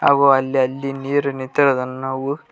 ಹಾಗು ಅಲ್ಲಿ ಅಲ್ಲಿ ನೀರು ನಿಂತಿರುವುದನ್ನು ನಾವು--